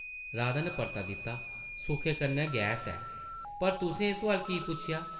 राधा नै परता दित्ता, ‘‘सुखै कन्नै गैस ऐ । पर तुसें एह् सोआल की पुच्छेआ ?’’